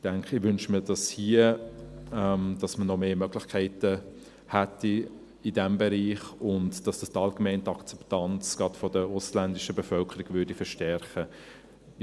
Ich wünschte mir, dass man in diesem Bereich noch mehr Möglichkeiten hätte und denke, dass das allgemein die Akzeptanz, gerade der ausländischen Bevölkerung, verstärken würde.